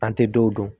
An tɛ dɔw dɔn